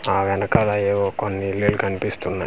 ఆ వెనకాల ఏవో కొన్నిల్లిల్లు కన్పిస్తున్నాయి .